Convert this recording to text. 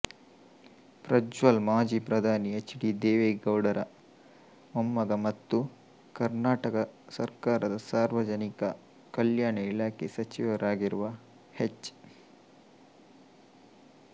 ಪ್ರಜ್ವಲ್ ಮಾಜಿ ಪ್ರಧಾನಿ H D ದೇವೇಗೌಡರ ಮೊಮ್ಮಗ ಮತ್ತು ಕರ್ನಾಟಕ ಸರ್ಕಾರದ ಸಾರ್ವಜನಿಕ ಕಲ್ಯಾಣ ಇಲಾಖೆ ಸಚಿವರಾಗಿರುವ ಹೆಚ್